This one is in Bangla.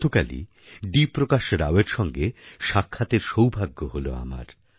গতকালই ডি প্রকাশ রাওয়ের সঙ্গে সাক্ষাতের সৌভাগ্য হল আমার